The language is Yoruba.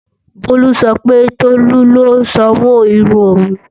Bolu sọ pé Tolu ló sanwó irun òun